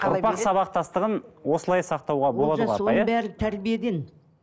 ұрпақ сабақтастығын осылай сақтауға бәрі тәрбиеден